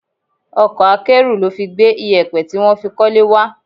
Ọkọ̀ akẹ́rù ló fi gbé iyẹpẹ tí wọ́n fi kọ́lé wá.